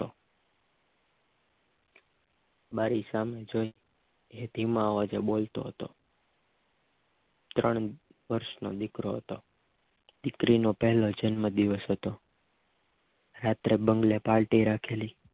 બારી સામે જોઈ એ ધીમા અવાજે બોલતો હતો ત્રણ વર્ષનો દીકરો હતો દીકરી નો પહેલો જન્મદિવસ હતો રાત્રે બંગલે પાર્ટી રાખેલી